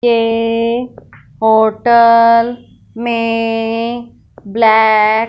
एक होटल में ब्लैक --